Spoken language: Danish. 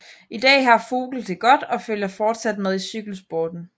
I dag har Vogel det godt og følger fortsat med i cykelsporten